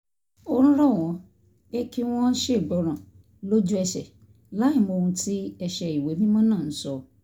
ń rọ̀ wọ́n pé kí wọ́n ṣègbọràn lójú ẹsẹ̀ láìmọ̀ ohun tí ẹsẹ ìwé mímọ́ náà ń sọ